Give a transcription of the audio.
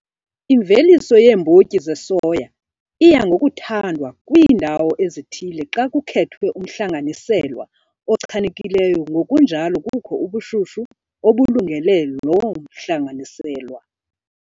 Imveliso yeembotyi zesoya iya ngokuthandwa kwiindawo ezithile xa kukhethwe umhlanganiselwa ochanekileyo ngokunjalo kukho ubushushu obulungele loo mihlanganiselwa.